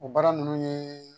O baara ninnu ye